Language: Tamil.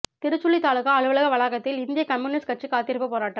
திருச்சுழி தாலுகா அலுவலக வளாகத்தில் இந்திய கம்யூனிஸ்ட் கட்சி காத்திருப்பு போராட்டம்